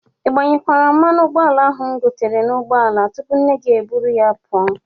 Ị gbanyekwara mmanụ ụgbọala ahụ m gotere n'ụgbọala tupu nne gị e jiri ya pụọ?